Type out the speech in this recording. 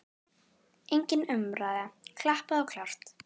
Engin umræða, klappað og klárt.